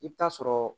I bɛ taa sɔrɔ